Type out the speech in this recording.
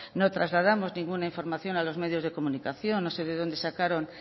no trasladamos ninguna información a los medios de comunicación no sé de dónde sacaron